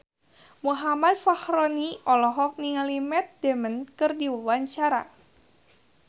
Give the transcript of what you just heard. Muhammad Fachroni olohok ningali Matt Damon keur diwawancara